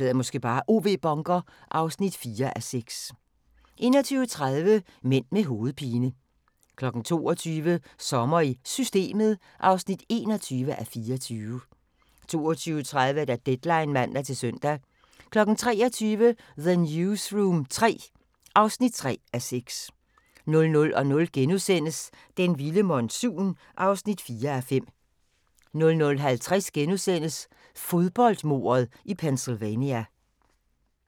(4:6) 21:30: Mænd med hovedpine 22:00: Sommer i Systemet (21:24) 22:30: Deadline (man-søn) 23:00: The Newsroom III (3:6) 00:00: Den vilde monsun (4:5)* 00:50: Fodboldmordet i Pennsylvania *